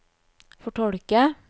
fortolke